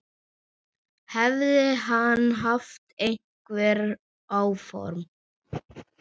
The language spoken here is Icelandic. Hefði hann haft einhver áform.